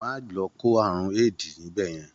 Má lọ kó àrùn AID níbẹ̀ yẹn.